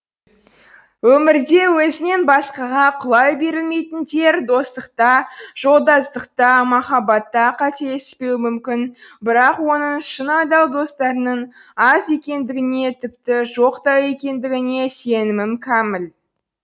өмірде өзінен басқаға құлай берілмейтіндер достықта жолдастықта махаббатта қателеспеуі мүмкін бірақ оның шын адал достарының аз екендігіне тіпті жоқ та екендігіне сенімім кәміл